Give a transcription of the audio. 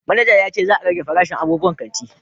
Manaja ya ce za a rage farashin abubuwan kanti